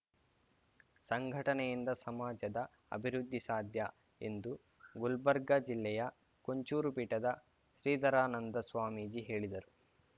ಸಂಘಟನೆಯಿಂದ ಸಮಾಜದ ಅಭಿವೃದ್ಧಿ ಸಾಧ್ಯ ಎಂದು ಗುಲ್ಬರ್ಗ ಜಿಲ್ಲೆಯ ಕೊಂಚೂರು ಪೀಠದ ಶ್ರೀಧರಾನಂದ ಸ್ವಾಮೀಜಿ ಹೇಳಿದರು